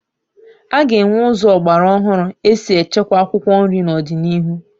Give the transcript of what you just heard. A ga-enwe ụzọ ọgbara ọhụrụ esi echekwa akwụkwọ nri n'ọdịnihu